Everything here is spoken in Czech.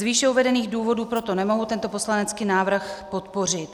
Z výše uvedených důvodů proto nemohu tento poslanecký návrh podpořit.